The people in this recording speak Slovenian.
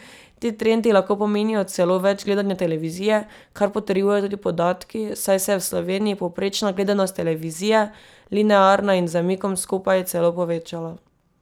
Ti trendi lahko pomenijo celo več gledanja televizije, kar potrjujejo tudi podatki, saj se je v Sloveniji povprečna gledanost televizije, linearna in z zamikom skupaj, celo povečala.